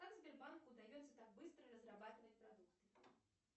как сбербанку удается так быстро разрабатывать продукты